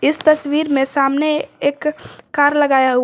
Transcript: इस तस्वीर में सामने एक कार लगाया हुआ--